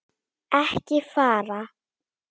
ekki fara!